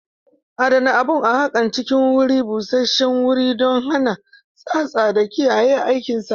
Adana abun haƙan a cikin guri busashshewuri don hana tsatsa da kiyaye aikinsa.